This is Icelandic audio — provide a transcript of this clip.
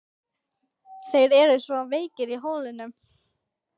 Þeir eru svo veikir í holdinu.